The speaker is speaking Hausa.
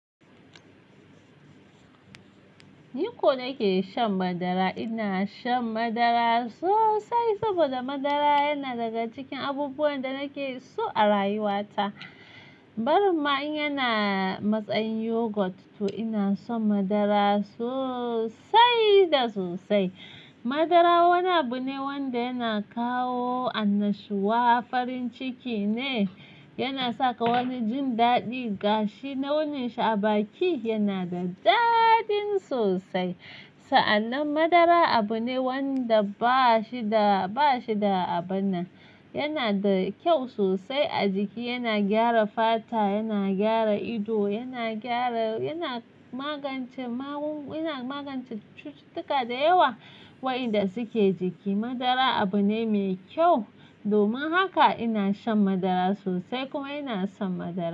Ni ko nake shan madara. Ina shan madara sosai saboda madara yana daga cikin abubuwan da nake so a rayuwata. Barimma in yana matsayin yogurt, to ina son madara sosai da sosai. Madara wani abu ne wanda yana kawo annashuwa, farin ciki ne, yana saka wani jin daɗi. Gashi, launin shi a baki yana da daɗin sosai. Sa'annan madara abu ne wanda ba shi da, ba shi da abun na. Yana da kyau sosai a jiki, yana gyara fata, yana gyara ido, yana gyara, yana magance magunguna, yana magance cututtuka da yawa waeanda suke jiki. Madara abu ne mai kyau. Domin haka ina shan madara sosai kuma ina son madara.